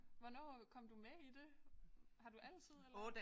Hvornår øh kom du med i det? Har du altid eller